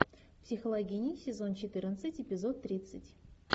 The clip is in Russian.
психологини сезон четырнадцать эпизод тридцать